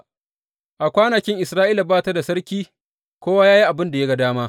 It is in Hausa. A kwanakin Isra’ila ba ta da sarki; kowa ya yi abin da ya ga dama.